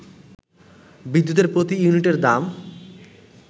বিদ্যুতের প্রতি ইউনিটের দাম